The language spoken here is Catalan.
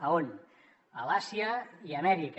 a on a l’àsia i amèrica